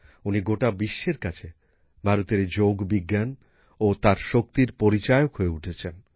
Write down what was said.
উনি গোটা বিশ্বের কাছে ভারতের এই যোগবিজ্ঞান ও তার শক্তির পরিচায়ক হয়ে উঠেছেন